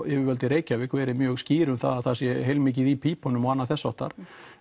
yfirvöld í Reykjavík verið mjög skýr um það að það sé heilmikið í pípunum og þess háttar